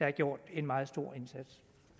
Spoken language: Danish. har gjort en meget stor indsats